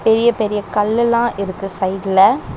பெரிய பெரிய கல்லெல்லா இருக்கு சைடுல .